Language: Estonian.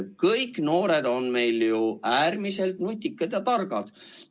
Kõik noored on meil ju äärmiselt nutikad ja targad.